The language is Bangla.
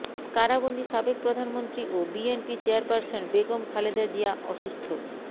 কারাবন্দি সাবেক প্রধানমন্ত্রী ও বিএনপি চেয়ারপারসন বেগম খালেদা জিয়া অসুস্থ